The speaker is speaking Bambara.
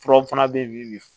Furaw fana bɛ yen bi